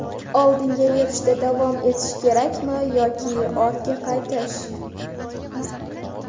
Oldinga yurishda davom etish kerakmi yoki ortga qaytish?